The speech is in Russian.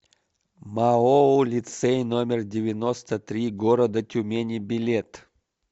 маоу лицей номер девяносто три города тюмени билет